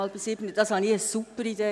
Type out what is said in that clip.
Ich fand dies eine super Idee.